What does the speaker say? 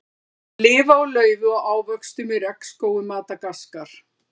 Þeir lifa á laufi og ávöxtum í regnskógum Madagaskar.